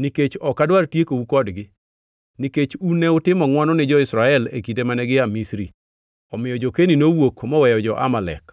nikech ok adwar tiekou kodgi; nikech un ne utimo ngʼwono ni jo-Israel e kinde mane gia Misri.” Omiyo jo-Keni nowuok moweyo jo-Amalek.